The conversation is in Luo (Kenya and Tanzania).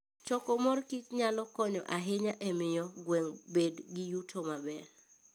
Choko mor kich nyalo konyo ahinya e miyo gweng' obed gi yuto maber.